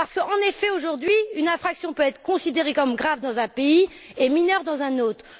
En effet, aujourd'hui une infraction peut être considérée comme grave dans un pays et mineure dans un autre.